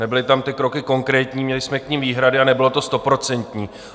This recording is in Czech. Nebyly tam ty kroky konkrétní, měli jsme k nim výhrady a nebylo to stoprocentní.